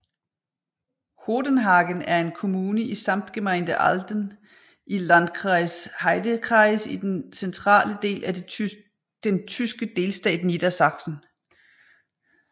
Hodenhagen er en kommune i Samtgemeinde Ahlden i Landkreis Heidekreis i den centrale del af den tyske delstat Niedersachsen